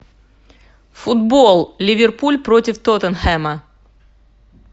футбол ливерпуль против тоттенхэма